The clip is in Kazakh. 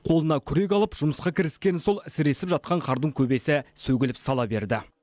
қолына күрек алып жұмысқа кіріскені сол сіресіп жатқан қардың көбесі сөгіліп сала берді